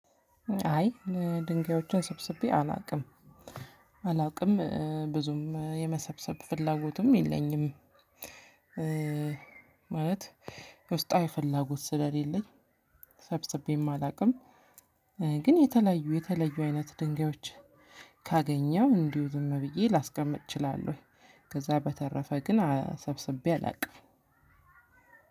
አይ ድንጋዮችን ሰብስቤ አላውቅም አላውቅም ብዙም የመሰብሰብ ፍላጎቱም የለኝም። ማለት ውስጣዊ ፍላጎት ስለሌለኝ። ሰብስቤም አላውቅም። ግን የተለዩ የተለዩ አይነት ድንጋዮች ካገኘው እንዲሁ ዝም ብዬ ላስቀምጥ እችላለሁ። ከዛ በተረፈ ግን ሰብስቤ አላውቅም።